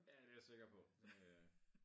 Ja det jeg sikker på det øh